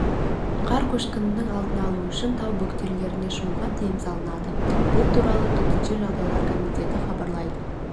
қар көшкінінің алдын алу үшін тау бөктерлеріне шығуға тыйым салынады бұл туралы төтенше жағдайлар комитеті хабарлайды